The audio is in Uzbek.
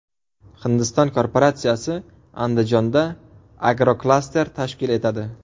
Hindiston korporatsiyasi Andijonda agroklaster tashkil etadi.